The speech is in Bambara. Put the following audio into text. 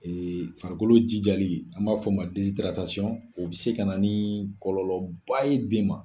farikolo jijali an b'a fɔ o ma o bɛ se ka na ni kɔlɔlɔba ye den ma.